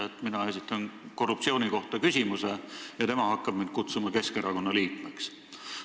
Näiteks, mina esitan küsimuse korruptsiooni kohta, aga tema hakkab mind kutsuma Keskerakonna liikmeks.